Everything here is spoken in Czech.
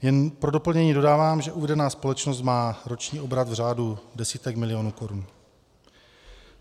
Jen pro doplnění dodávám, že uvedená společnost má roční obrat v řádu desítek milionů korun.